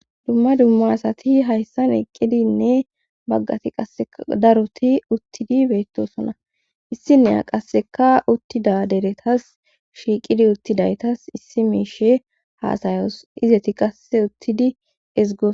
dumma dumma asati hayssan eqqidinne baggati qaeskka daroti uttidi beettosona issinneya qasseka uttida deretas shiiqidi uttidaytas issi miishe haasayos izeti qasse uttidi ezgo